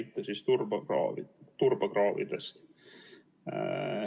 Ta tõi näite turbakraavidest.